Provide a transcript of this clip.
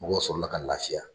Mɔgɔw sɔrɔ la ka lafiya.